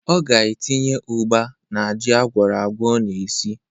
Ọ ga-etinye ụgba n'ji agwọrọagwọ ọ na-esi.